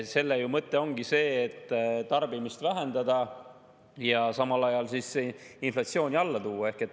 Selle mõte ongi see, et tarbimist vähendada ja samal ajal inflatsiooni alla tuua.